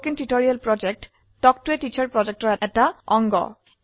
spoken tutorial talk to a teacher প্ৰকল্পৰ অংশবিশেষ